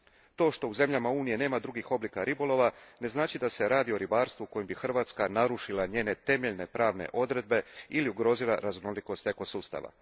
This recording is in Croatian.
To što u zemljama Unije nema drugih oblika ribolova ne znači da se radi o ribarstvu kojim bi Hrvatska narušila njene temeljne pravne odredbe ili ugrozila raznolikost ekosustava.